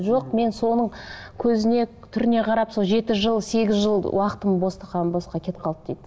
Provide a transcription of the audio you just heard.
жоқ мен соның көзіне түріне қарап сол жеті жыл сегіз жыл уақытым бостан босқа кетіп қалды дейді